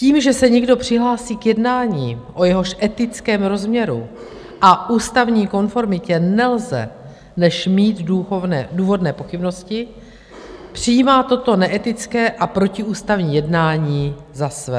Tím, že se někdo přihlásí k jednání, o jehož etickém rozměru a ústavní konformitě nelze než mít důvodné pochybnosti, přijímá toto neetické a protiústavní jednání za své.